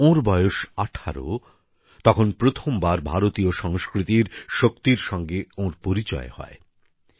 যখন ওঁর বয়স ১৮ তখন প্রথমবার ভারতীয় সংস্কৃতির শক্তির সঙ্গে ওঁর পরিচয় হয়